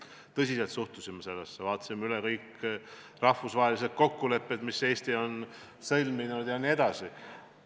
Me suhtusime sellesse tõsiselt, vaatasime üle kõik rahvusvahelised kokkulepped, mis Eesti on sõlminud, jne.